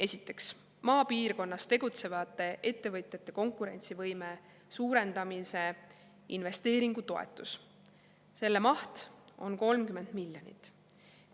Esiteks, maapiirkonnas tegutsevate ettevõtjate konkurentsivõime suurendamise investeeringutoetus, selle maht on 30 miljonit eurot.